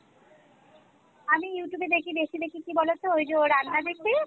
আমি Youtube এ দেখি বেশি দেখি কী বলতো ঐ যে ও রান্না দেখি